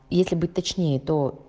если быть точнее то